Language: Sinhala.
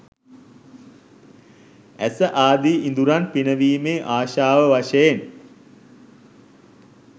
ඇස ආදි ඉඳුරන් පිනවීමේ ආශාව වශයෙන්